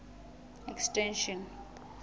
extension